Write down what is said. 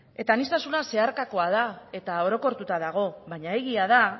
aniztasuna zeharkakoa da eta orokortuta dago baina egia da